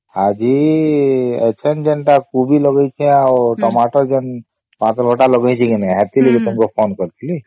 ଆଜି ଇଠାନେ ଯେନ କୋବି ଲଗେଇଛେ ଆଉ ଟମାଟର ଜନତା ଲଗେଇଛେ କି ନାଇଁ ହାତରେ ଯୋଉ କାମ କରିକି